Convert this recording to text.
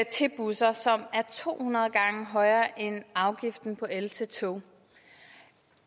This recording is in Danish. til busser som er to hundrede gange højere end afgiften på el til tog